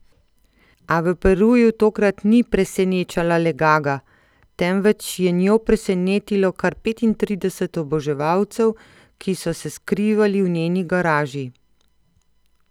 A v Peruju tokrat ni presenečala le Gaga, temveč je njo presenetilo kar petintrideset oboževalcev, ki so se skrivali v njeni garaži.